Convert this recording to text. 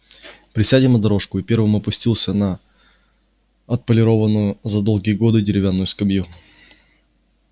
присядем на дорожку и первым опустился на отполированную за долгие годы деревянную скамью